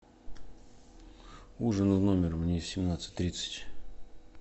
ужин в номер мне в семнадцать тридцать